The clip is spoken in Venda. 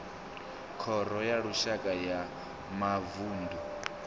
khoro ya lushaka ya mavunḓu